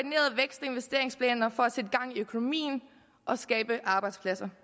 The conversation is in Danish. investeringsplaner for at sætte gang i økonomien og skabe arbejdspladser